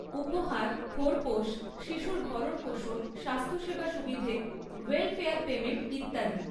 উপহার, খোরপোশ, শিশুর ভরণপোষণ, স্বাস্থ্যসেবা সুবিধে, ওয়েলফেয়ার পেমেন্ট ইত্যাদি।